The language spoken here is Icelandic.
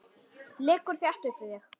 Liggur þétt upp við þig.